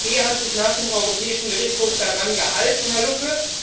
die EZB hat sich nach dem Europäischen Gerichtshof daran gehalten, Herr Lucke.